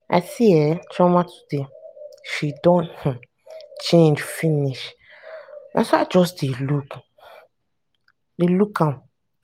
i see um chioma today. she don um change finish na so i just dey look um am.